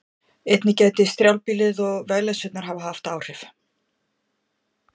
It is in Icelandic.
Einnig gæti strjálbýlið og vegleysurnar hafa haft áhrif.